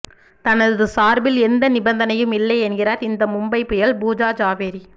தனது சார்பில் எந்த நிபந்தனையும் இல்லை என்கிறார் இந்த மும்பை புயல் பூஜா ஜாவேரி